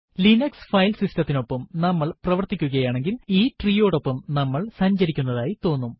Linux file സിസ്റ്റത്തിനൊപ്പം നമ്മൾ പ്രവര്ത്തിക്കുകയാണെങ്കിൽ ഈ ട്രീയോടൊപ്പം നമ്മൾ സഞ്ചരിക്കുന്നതായി തോന്നും